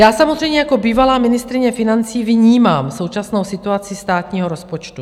Já samozřejmě jako bývalá ministryně financí vnímám současnou situaci státního rozpočtu.